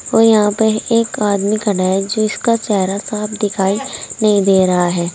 और यहां पर एक आदमी खड़ा है जिसका चेहरा साफ दिखाई नहीं दे रहा है।